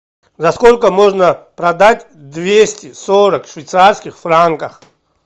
за сколько можно продать двести сорок швейцарских франков